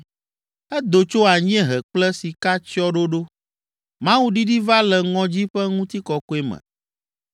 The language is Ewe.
Edo tso anyiehe kple sikatsyɔ̃ɖoɖo. Mawu ɖiɖi va le ŋɔdzi ƒe ŋutikɔkɔe me.